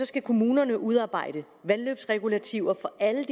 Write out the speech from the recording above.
skal kommunerne udarbejde vandløbsregulativer for alle